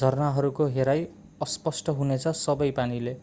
झरनाहरूको हेराइ अस्पष्ट हुनेछ सबै पानीले